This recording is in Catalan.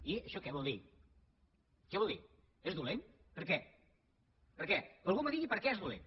i això què vol dir què vol dir és dolent per què que algú em digui per què és dolent